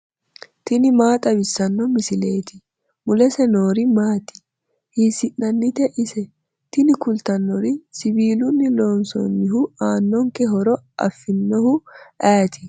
tini maa xawissanno misileeti ? mulese noori maati ? hiissinannite ise ? tini kultannori siwiilunni loonsoonnihu aannonke horo afinohu ayeeti?